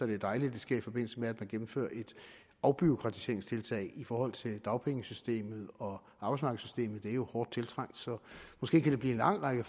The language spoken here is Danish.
det er dejligt at det sker i forbindelse med at man gennemfører et afbureaukratiseringstiltag i forhold til dagpengesystemet og arbejdsmarkedssystemet det er jo hårdt tiltrængt så måske kan det blive en lang række